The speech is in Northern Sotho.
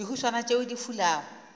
le dihuswane tšeo di fulago